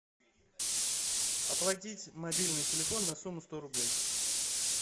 оплатить мобильный телефон на сумму сто рублей